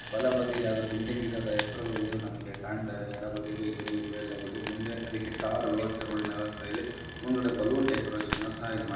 ಬಲಬದಿಯಲ್ಲಿ ಯಾವದೋ ಬಿಲ್ಡಿಂಗ್ ಇದೆ ಅದರ ಹೆಸರು ಏನು ನಮಗೆ ಕಾಣತಾ ಇಲ್ಲ ಎಡಬದಿಯಲ್ಲೂ ಏನು ಇಲ್ಲವೇ ಇಲ್ಲಾ ಬಿಡಿ ಮುಂದೆ ಅದಕ್ಕೆ ಟಾರ್ ರೋಡಿನ ವ್ಯವಸ್ಥೆ ಇದೆ ಮುಂದಗಡೆ ಬಲೂನ್ ಡೆಕೋರೇಷನ್ ಸಹ ಇಲ್ಲಿ ಮಾಡಿದ್ದಾರೆ.